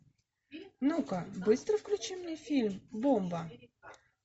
ну ка быстро включи мне фильм бомба